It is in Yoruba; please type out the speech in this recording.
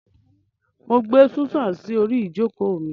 Mo n gbe Susan si ori ijoko mi.